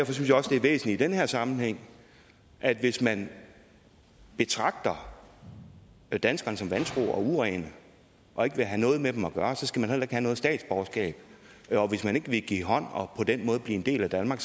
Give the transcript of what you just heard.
er væsentligt i den her sammenhæng at hvis man betragter danskerne som vantro og urene og ikke vil have noget med dem at gøre så skal man da have noget statsborgerskab og hvis man ikke vil give hånd og på den måde blive en del af danmark